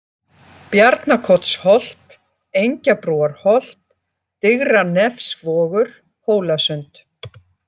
Bjarnakotsholt, Engjabrúarholt, Digranefsvogur, Hólasund